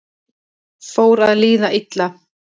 Fór að líða illa